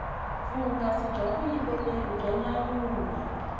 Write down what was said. vuhungasi bya vuyimbeleri bya nyanyula